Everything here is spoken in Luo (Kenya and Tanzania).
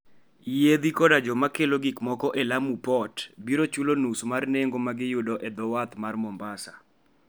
Yiedhi koda joma kelo gik moko e Lamu Port biro chulo nus mar nengo ma giyudo e dho wath mar Mombasa.